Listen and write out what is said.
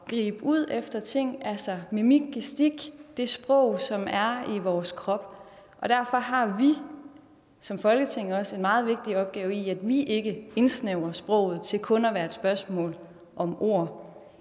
og gribe ud efter ting altså mimik gestik det sprog som er i vores krop og derfor har vi som folketing også en meget vigtig opgave i ikke at indsnævre sproget til kun at være et spørgsmål om ord